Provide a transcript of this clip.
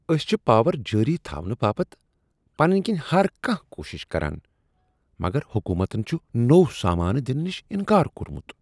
أسۍ چھ پاور جٲری تھاونہٕ باپت پننۍ کِنۍ ہر کانہہ کوٗشش کران مگر حکومتن چھ نوٚو سامانہ دنہٕ نش انکار کوٚرمت۔